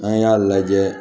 An y'a lajɛ